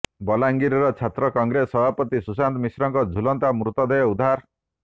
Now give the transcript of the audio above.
ବଲାଙ୍ଗୀର ଛାତ୍ର କଂଗ୍ରେସ ସଭାପତି ସୁଶାନ୍ତ ମିଶ୍ରଙ୍କ ଝୁଲନ୍ତା ମୃତଦେହ ଉଦ୍ଧାର